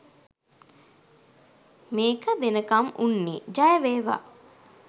මෙක දෙනකම් උන්නේ ජය වේවා!.